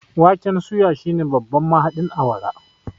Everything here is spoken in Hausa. waken suya shine babban mahaɗin awara